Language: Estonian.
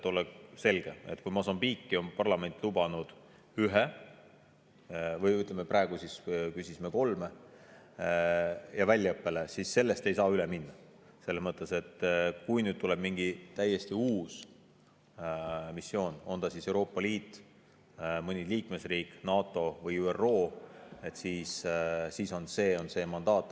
Et oleks selge, ütlen, et kui Mosambiiki on parlament lubanud ühe, või ütleme, praegu küsisime kolmele ja väljaõppe jaoks, siis sellest ei saa üle minna –, selles mõttes, et kui tuleb mingi täiesti uus missioon, on see siis Euroopa Liidu, mõne liikmesriigi, NATO või ÜRO, siis selleks ongi see mandaat.